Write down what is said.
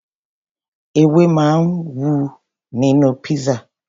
Ewé máa ń wà nínú pizza.